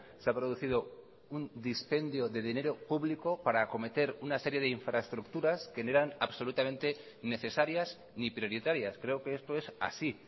se ha producido un dispendio de dinero público para acometer una serie de infraestructuras que no eran absolutamente necesarias ni prioritarias creo que esto es así